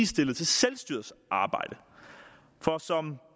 stillet til selvstyrets arbejde for som